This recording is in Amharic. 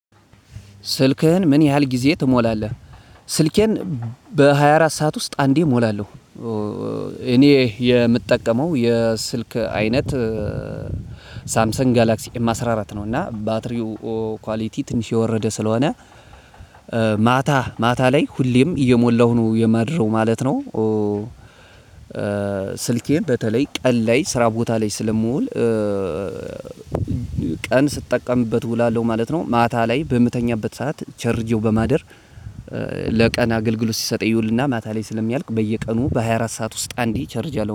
ስልክህን ምን ያህል ጊዜ ትሞላለህ? ስልኬን በሃያ አራት ሰዓት ውስጥ አንዴ እሞላለሁ። እኔ የምጠቀመው የስልክ አይነት ሳምሰን ጋላክሲ ኤም አስራ አራት ነው። እና ባትሪው ኳሊቲ ትንሽ የወረደ ስለሆነ ማታ ማታ ላይ ሁሌም እየሞላሁ ነው የማድረው ማለት ነው። ስልኬን በተለይ ቀን ላይ ስራ ቦታ ላይ ስለምውል። ቀን ስጠቀምበት እውላለው ማለት ነው፤ ማታ ላይ በምተኛበት ሰዓት ቸርጄው በማደር። ለቀን አገልግሎት ሲሰጥ ይውልና ማታ ላይ ስለሚያልቅ በየቀኑ በሃያ አራት ሰዓት ውስጥ አንዴ እቸርጃለው